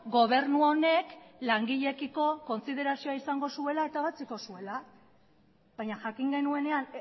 gobernu honek langileekiko kontsiderazio izango zuela eta ebatziko zuela baina jakin genuenean